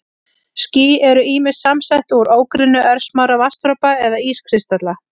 Ský eru ýmist samsett úr ógrynni örsmárra vatnsdropa eða ískristalla.